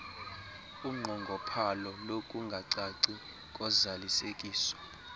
unqongophalo lokungacaci kozalisekiso